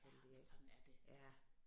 Ja men sådan er det altså